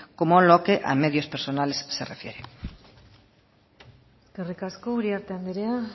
como a lo que a medios personales se refiere eskerrik asko uriarte andrea